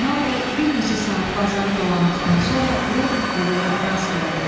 Zeynal bəy bir neçə saat bazarı dolandıqdan sonra Ürədniki quluya rast gəldi.